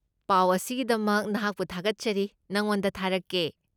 ꯄꯥꯎ ꯑꯁꯤꯒꯤꯗꯃꯛ ꯅꯍꯥꯛꯄꯨ ꯊꯥꯒꯠꯆꯔꯤ, ꯅꯉꯣꯟꯗ ꯊꯥꯔꯛꯀꯦ꯫